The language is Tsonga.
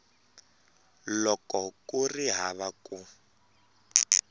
loko ku ri hava ku